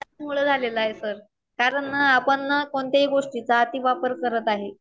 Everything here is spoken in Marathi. त्याचमुळं झालेलय आहे सर, कारण ना आपण ना कोणत्याही गोष्टीचा अति वापर करत आहे.